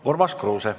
Urmas Kruuse.